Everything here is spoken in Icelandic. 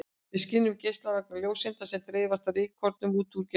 Við skynjum geislann vegna ljóseinda sem dreifast af rykkornum út úr geislanum.